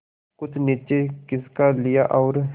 कुछ नीचे खिसका लिया और